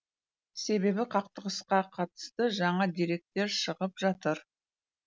себебі қақтығысқа қатысты жаңа деректер шығып жатыр